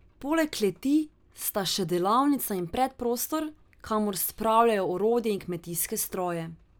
Poleg kleti sta še delavnica in predprostor, kamor spravljajo orodje in kmetijske stroje.